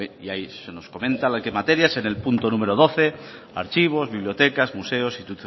y ahí se nos comenta qué materias en el punto número doce archivos bibliotecas museos